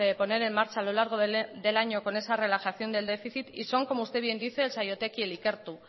poner en marcha a lo largo del año con esa relajación del déficit y son como usted bien dice el saiotek y el ikertu